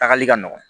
Tagali ka nɔgɔn